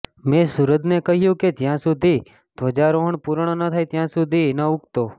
મેં સુરજને કહ્યું કે જ્યાં સુધી ધ્વજારોહણ પૂર્ણ ન થાય ત્યાં સુધી ન ઉગતો